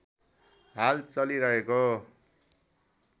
हाल चलिरहेको